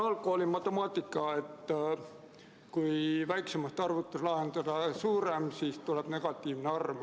Algkooli matemaatikast on teada, et kui väiksemast arvust lahutada suurem, siis tuleb vastuseks negatiivne arv.